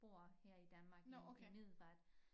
Bor her i Danmark i i Middelfart